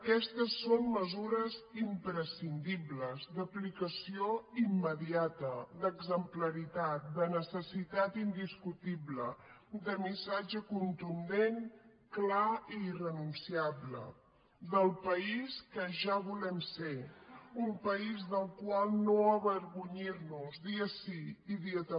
aquestes són mesures imprescindibles d’aplicació immediata d’exemplaritat de necessitat indiscutible de missatge contundent clar i irrenunciable del país que ja volem ser un país del qual no avergonyir nos dia sí i dia també